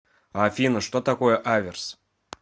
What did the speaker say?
афина что такое аверс